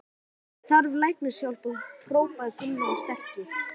Þessi maður þarf læknishjálp hrópaði Gunnlaugur sterki.